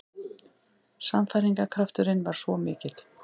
Sannfæringarkrafturinn var svo mikill.